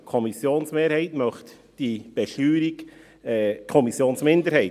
Die Kommissionsmehrheit möchte diese Besteuerung ...